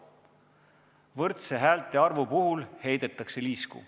Võrdse häältearvu puhul heidetakse liisku.